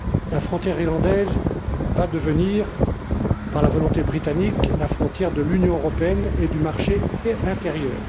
La frontière irlandaise va devenir, par la volonté britannique, la frontière de l'Union européenne et du marché intérieur.